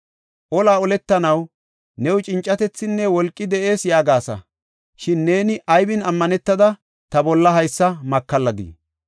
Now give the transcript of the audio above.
Olaa oletanaw new cincatethinne wolqi de7ees yaagasa. Shin neeni aybin ammanetada ta bolla haysa makalladii?